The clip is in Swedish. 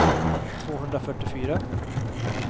tvåhundrafyrtiofyra